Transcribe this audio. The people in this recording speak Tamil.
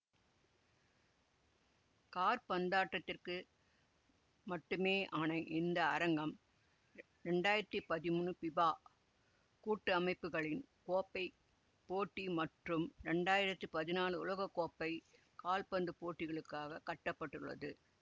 காற்பந்தாட்டத்திற்கு மட்டுமேயான இந்த அரங்கம் இரண்டாயிரத்தி பதிமூனு பிபா கூட்டமைப்புக்களின் கோப்பை போட்டி மற்றும் இரண்டாயிரத்தி பதினாலு உலக கோப்பை காற்பந்து போட்டிகளுக்காக கட்ட பட்டுள்ளது